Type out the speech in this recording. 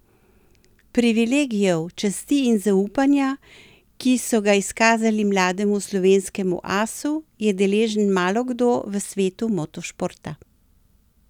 Privilegijev, časti in zaupanja, ki so ga izkazali mlademu slovenskemu asu, je deležen malo kdo v svetu motošporta.